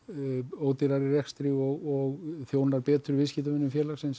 ódýrari í rekstri og þjónar betur viðskiptavinum félagsins